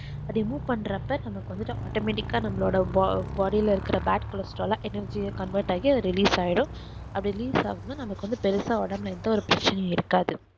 remove பண்றப்ப நமக்கு வந்து autometic ஆஹ் நம்மளோட body ல இருக்குற badcholesterolenergyconvert ஆகி அது release ஆகிரும் அது release ஆவுதுனா நமக்கு வந்து பெருசா ஒடம்புல எந்த ஒரு பிரச்சனைஇருக்காது